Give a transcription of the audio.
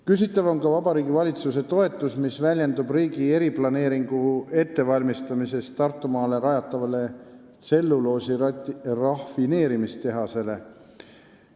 Küsitav on ka Vabariigi Valitsuse toetus, mis väljendub Tartumaale rajatava tselluloositehase jaoks riigi eriplaneeringu ettevalmistamises.